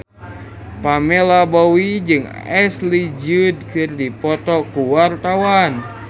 Pamela Bowie jeung Ashley Judd keur dipoto ku wartawan